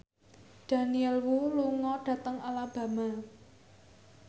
Daniel Wu lunga dhateng Alabama